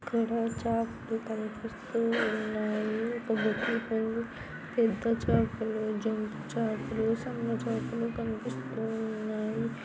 ఇక్కడ చాపలు కనిపిస్తూ ఉన్నాయి ఒక బెడ్ షీట్ ఉంది పెద్ద చాపలు జొంపు చాపలు సన్న చాపలు కనిపిస్తూ ఉన్నాయి.